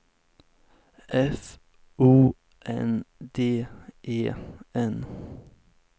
F O N D E N